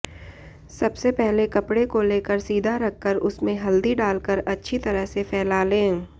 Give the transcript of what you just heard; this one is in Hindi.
सबसे पहले कपड़े को लेकर सीधा रखकर उसमें हल्दी डालकर अच्छी तरह से फैला लें